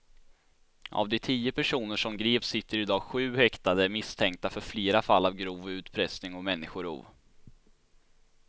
Av de tio personer som greps sitter i dag sju häktade misstänkta för flera fall av grov utpressning och människorov.